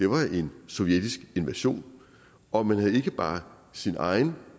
var en sovjetisk invasion og man havde ikke bare sin egen